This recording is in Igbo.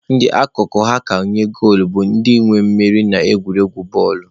Ndị akụkụ ha ka nye goolu bụ ndị nwe mmeri na egwuregwu futbọọlụ.